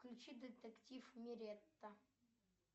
включи детектив миретта